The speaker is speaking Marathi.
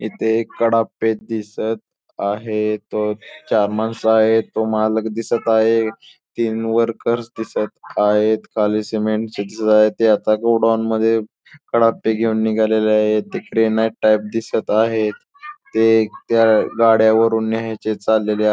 इथे एक कडापे दिसत आहे तो चार माणसं आहेत व मालक दिसत आहे तीन वर्कर दिसत आहेत खाली सिमेंट दिसत आहे ते आता गोडाऊन मध्ये कडापे घेऊन निघाले आहेत ते ग्रॅनाईट टाईप दिसत आहे ते त्या गाड्या वरून न्यायचे चाललेले आ --